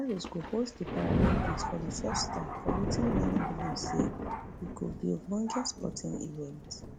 paris go host di paralympics for di first time for wetin many believe say e go be ogbonge sporting event